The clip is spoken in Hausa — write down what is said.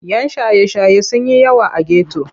Yan shaye-shaye sun yi yawa a geto.